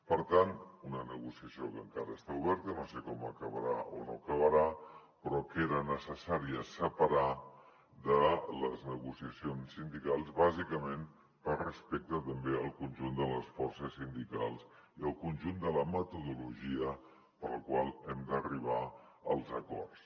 per tant una negociació que encara està oberta no sé com acabarà o no acabarà però que era necessària separar de les negociacions sindicals bàsicament per respecte també al conjunt de les forces sindicals i al conjunt de la metodologia per la qual hem d’arribar als acords